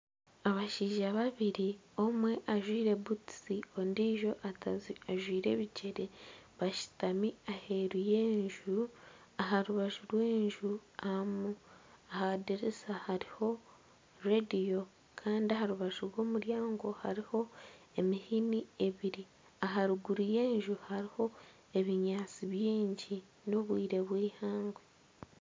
Abashaija babiri, omwe ajwaire butusi ondiijo ajwaire ebigyere ashutami aheeru y'enju aha rubaju rw'enju aha dirisa hariho rediyo Kandi aha rubaju rw'omuryango hariho emihini ebiri aha ruguru y'enju hariho ebinyaatsi bingi n'obwire bw'eihangwe.